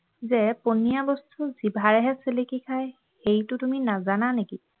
যে পনীয়া বস্তু জিভাৰেহে চেলেকি খায় সেইটো তুমি নাজানা নেকি